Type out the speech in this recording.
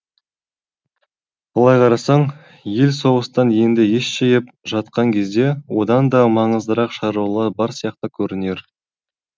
былай қарасаң ел соғыстан енді ес жиып жатқан кезде одан да маңыздырақ шаруалар бар сияқты көрінер